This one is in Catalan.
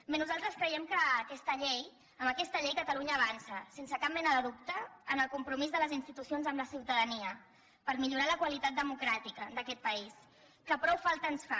bé nosaltres creiem que amb aquesta llei catalunya avança sense cap mena de dubte en el compromís de les institucions amb la ciutadania per millorar la qualitat democràtica d’aquest país que prou falta ens fa